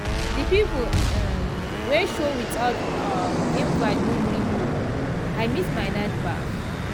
the people um wey show without um invite no gree go i miss my night baff.